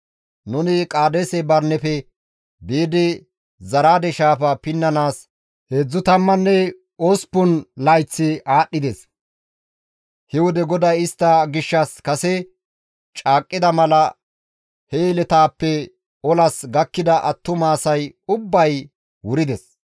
Nuni Qaadeese Barineppe biidi Zaraade shaafa pinnanaas heedzdzu tammanne osppun layththi aadhdhides; he wode GODAY istta gishshas kase caaqqida mala he yeletaappe olas gakkida attuma asay ubbay wurides.